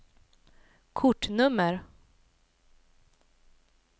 kortnummer